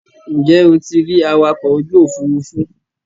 Ǹjẹ́ o ti rí awakọ̀ ojú òfurufú.